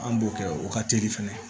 An b'o kɛ o ka teli fɛnɛ